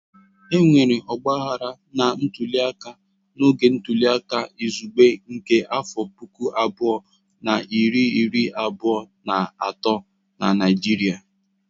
Enwere ọgbaghara na ntuliaka n'oge ntuliaka izugbe nke afọ puku abụọ na iri iri abụọ na atọ na Naịjirịa.